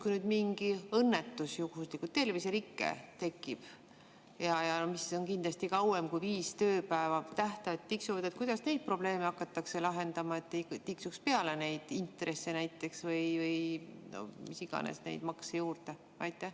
Kui nüüd juhuslikult mingi õnnetus tekib, näiteks terviserike, mis kestab kauem kui viis tööpäeva, aga tähtajad tiksuvad, kuidas siis neid probleeme hakatakse lahendama, et näiteks intressid ei hakkas tiksuma või mis iganes makse juurde ei pandaks?